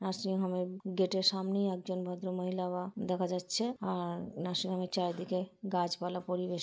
nursing home এর গেটের সামনেই একজন ভদ্র মহিলা দেখা যাচ্ছে আর নার্সিং হোম এর চারিদিকে গাছপালা পরিবেষ্--